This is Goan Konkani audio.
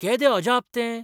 केदें अजाप तें!